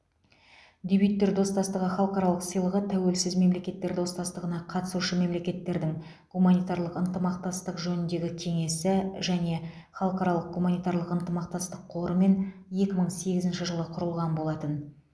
дебюттер достастығы халықаралық сыйлығы тәуелсіз мемлекеттер достастығына қатысушы мемлекеттердің гуманитарлық ынтымақтастық жөніндегі кеңесі және халықаралық гуманитарлық ынтымақтастық қорымен екі мың сегізінші жылы құрылған болатын